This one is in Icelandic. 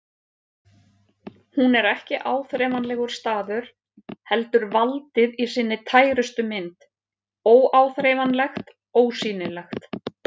Hún er ekki áþreifanlegur staður heldur valdið í sinni tærustu mynd, óáþreifanlegt, ósýnilegt.